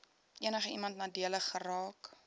enigiemand nadelig geraak